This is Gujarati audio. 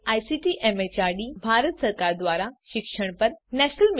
જે આઇસીટી એમએચઆરડી ભારત સરકાર દ્વારા શિક્ષણ પર નેશનલ મિશન દ્વારા આધારભૂત છે